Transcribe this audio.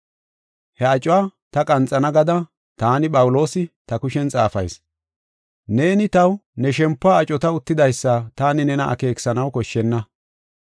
He acuwa ta qanxana gada taani Phawuloosi, ta kushen xaafayis. Neeni taw ne shempuwa acota uttidaysa taani nena akeekisanaw koshshenna.